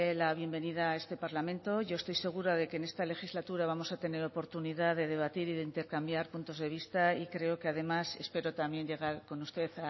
la bienvenida a este parlamento yo estoy segura de que en esta legislatura vamos a tener oportunidad de debatir y de intercambiar puntos de vista y creo que además espero también llegar con usted